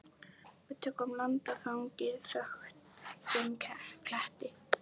Við tökum land á þangi þöktum kletti.